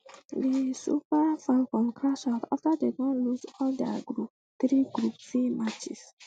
di super um falcons crash out afta dem lose all dia three group c matches